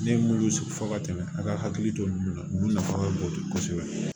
Ne ye minnu sigi fɔ ka tɛmɛ a ka hakili to ninnu na ninnu nafa ka bon kosɛbɛ